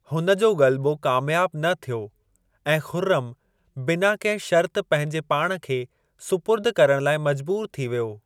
हुन जो ग़ल्बो कामयाब न थियो ऐं खु़र्रम बिना कहिं शर्त पंहिंजे पाण खे सुपुर्द करण लाइ मजबूर थी वियो।